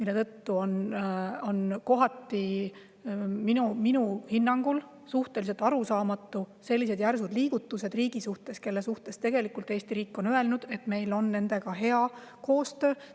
Seetõttu on minu hinnangul suhteliselt arusaamatud sellised järsud liigutused riigi suhtes, kelle kohta Eesti riik on öelnud, et meil on nendega hea koostöö.